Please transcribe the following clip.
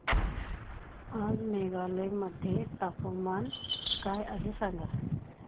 आज मेघालय मध्ये तापमान काय आहे सांगा